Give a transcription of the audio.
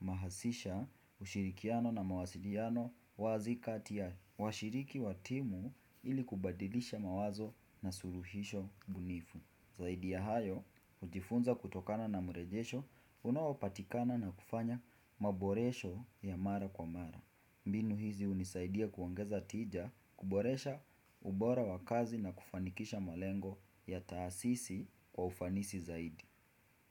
humahasisha ushirikiano na mawasiliano wazi kati ya washiriki watimu ili kubadilisha mawazo na suluhisho bunifu Zaidi ya hayo, hujifunza kutokana na mrejesho Unaopatikana na kufanya maboresho ya mara kwa mara mbinu hizi hunisaidia kuongeza tija kuboresha ubora wa kazi na kufanikisha malengo ya taasisi kwa ufanisi zaidi.